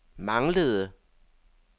manglede